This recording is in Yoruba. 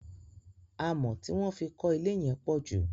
Amọ̀ tí wọ́n fí kọ ilé yẹn pọ̀ jù.